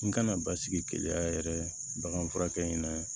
N kana basigi keleya yɛrɛ baganfurakɛ in na